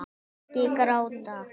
Ekki gráta